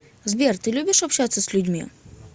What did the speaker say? сбер ты любишь общаться с людьми